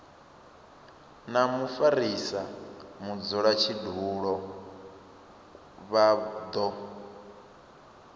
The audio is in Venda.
na mufarisa mudzulatshidulo vha do